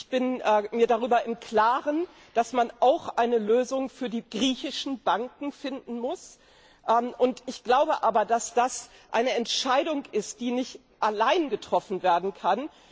Ich bin mir darüber im Klaren, dass man auch eine Lösung für die griechischen Banken finden muss, glaube aber, dass das eine Entscheidung ist, die nicht allein getroffen werden kann.